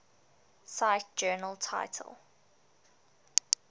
cite journal title